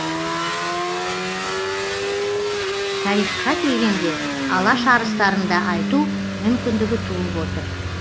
тарихқа келгенде алаш арыстарын да айту мүмкіндігі туып отыр